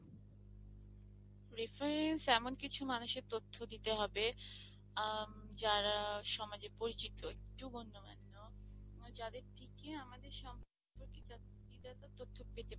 reference এমন কিছু মানুষের তথ্য দিতে হবে উম যারা সমাজে পরিচিত একটু গন্যমান্য, যাদের থেকে আমাদের সম্পর্কিত কিছু ভালো তথ্য পেতে পারেন।